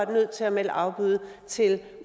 var nødt til at melde afbud til